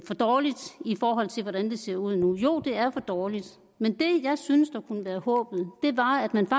for dårligt i forhold til hvordan det ser ud nu jo det er for dårligt men det jeg synes kunne være håbet var at man